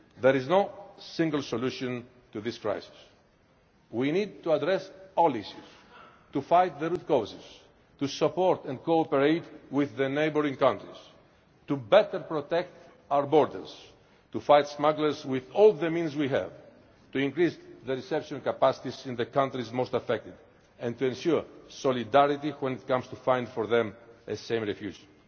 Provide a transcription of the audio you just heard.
one. There is no single solution to this crisis. We need to address all issues, to fight the root causes, to support and cooperate with the neighbouring countries, to better protect our borders, to fight smugglers with all the means we have, to increase the reception capacities in the countries most affected and to ensure solidarity when it comes to finding for them a safe